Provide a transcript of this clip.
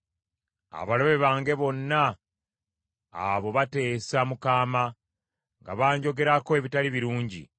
Abalabe bange bonna abo bateesa mu kaama; nga banjogerako ebitali birungi.